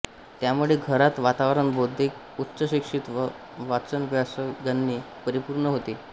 त्यामुळे घरात वातावरण बौद्धिक उच्चशिक्षित व वाचनव्यासंगाने परिपूर्ण होते